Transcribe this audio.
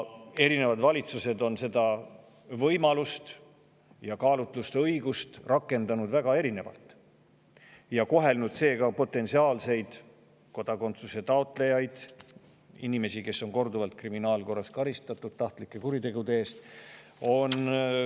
Nad on seda võimalust ja kaalutlusõigust rakendanud väga erinevalt ning kohelnud seega erinevalt potentsiaalseid kodakondsuse taotlejaid – inimesi, keda on kriminaalkorras korduvalt karistatud tahtlike kuritegude eest.